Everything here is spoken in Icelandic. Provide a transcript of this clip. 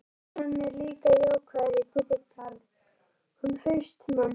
En, hann er líka jákvæður í þinn garð, hann HAustmann.